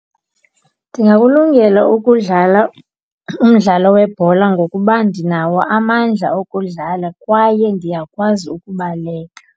Ndingakulungela ukudlala umdlalo webhola ngokuba ndinawo amandla okudlala kwaye ndiyakwazi ukubaleka.